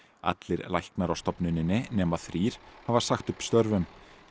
allir læknar á stofnuninni nema þrír hafa sagt upp störfum